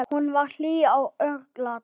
Hún var hlý og örlát.